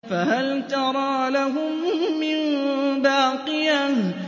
فَهَلْ تَرَىٰ لَهُم مِّن بَاقِيَةٍ